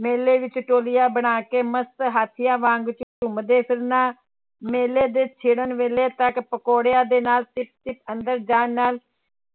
ਮੇਲੇ ਵਿੱਚ ਟੋਲੀਆਂ ਬਣਾ ਕੇ ਮਸਤ ਹਾਥੀਆਂ ਵਾਂਗ ਝੂੰਮਦੇ ਫਿਰਨਾ, ਮੇਲੇ ਦੇ ਛਿੜਨ ਵੇਲੇ ਤੱਕ ਪਕੋੜਿਆਂ ਦੇ ਨਾਲ ਅੰਦਰ ਜਾਣ ਨਾਲ